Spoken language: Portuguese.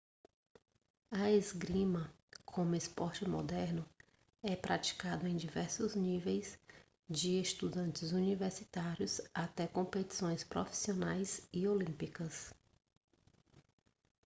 a esgrima como esporte moderno é praticado em diversos níveis de estudantes universitários até competições profissionais e olímpicas